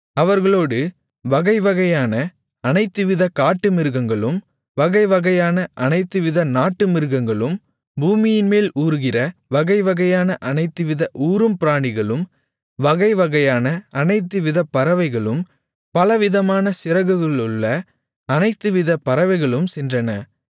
அவர்களோடு வகைவகையான அனைத்துவிதக் காட்டுமிருகங்களும் வகைவகையான அனைத்துவித நாட்டுமிருகங்களும் பூமியின்மேல் ஊருகிற வகைவகையான அனைத்துவித ஊரும் பிராணிகளும் வகைவகையான அனைத்துவிதப் பறவைகளும் பலவிதமான சிறகுகளுள்ள அனைத்துவிதப் பறவைகளும் சென்றன